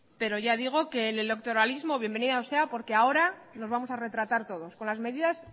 pero ya digo que el electoralismo bienvenido sea porque ahora nos vamos a retratar todos con las medidas